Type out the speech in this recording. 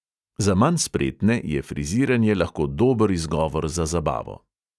Za manj spretne je friziranje lahko dober izgovor za zabavo.